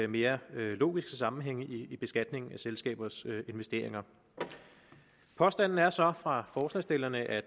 mere logiske sammenhænge i beskatningen af selskabers investeringer påstanden er så fra forslagsstillerne at